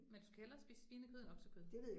Men du skal hellere spise svinekød end oksekød